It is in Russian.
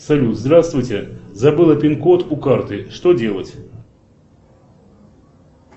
салют здравствуйте забыла пин код у карты что делать